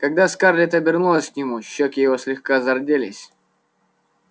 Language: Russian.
когда скарлетт обернулась к нему щёки его слегка зарделись